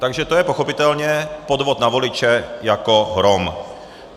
Takže to je pochopitelně podvod na voliče jako hrom.